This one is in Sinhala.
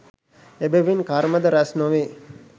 එබැවින් කර්මද රැස් නොවේ